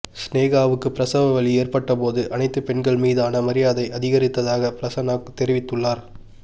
சினேகாவுக்கு பிரசவ வலி ஏற்பட்டபோது அனைத்து பெண்கள் மீதான மரியாதை அதிகரித்ததாக பிரசன்னா தெரிவித்துள்ளார்